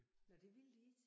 Nåh det ville de ikke?